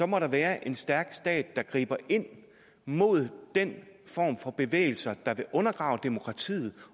må der være en stærk stat der griber ind mod den form for bevægelser der vil undergrave demokratiet